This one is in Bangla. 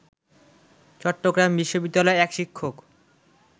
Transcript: চট্টগ্রাম বিশ্ববিদ্যালয়ের এক শিক্ষক